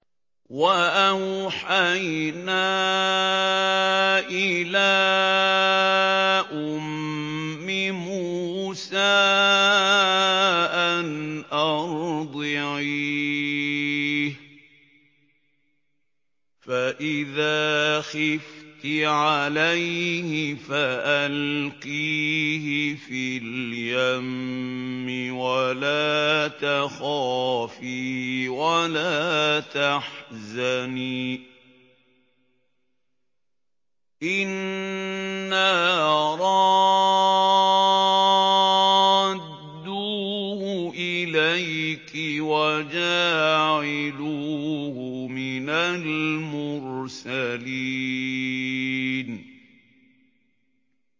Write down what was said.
وَأَوْحَيْنَا إِلَىٰ أُمِّ مُوسَىٰ أَنْ أَرْضِعِيهِ ۖ فَإِذَا خِفْتِ عَلَيْهِ فَأَلْقِيهِ فِي الْيَمِّ وَلَا تَخَافِي وَلَا تَحْزَنِي ۖ إِنَّا رَادُّوهُ إِلَيْكِ وَجَاعِلُوهُ مِنَ الْمُرْسَلِينَ